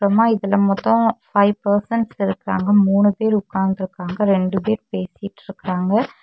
மா இதுல மொத்தம் ஃபை பர்சன்ஸ் இருக்காங்க. மூணு பேர் உக்காந்துருக்காங்க. ரெண்டு பேர் பேசிட்டுருக்காங்க.